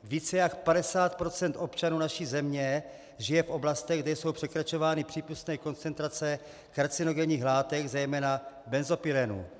Více jak 50 % občanů naší země žije v oblastech, kde jsou překračovány přípustné koncentrace karcinogenních látek, zejména benzopyrenu.